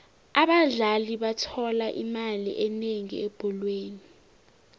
abadlali bathola imali enengi ebholweni